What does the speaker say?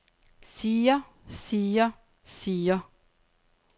siger siger siger